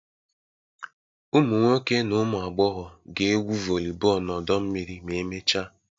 Ụmụ nwoke na ụmụ agbọghọ ga-egwu volleyball na ọdọ mmiri ma emechaa